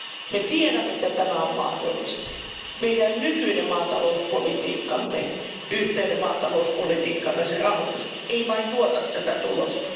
Me tiedämme, että tämä on mahdollista. Meidän nykyinen maatalouspolitiikkamme yhteinen maatalouspolitiikka ja sen rahoitus eivät vain tuota tätä tulosta.